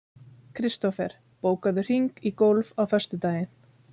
Kristofer, bókaðu hring í golf á föstudaginn.